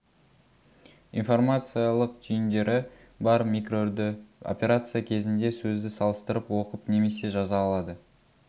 информациялық түйіндері бар микроүрді операция кезінде сөзді салыстырып оқып немесе жаза алады